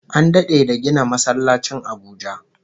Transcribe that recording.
An dade da gina masallacin Abuja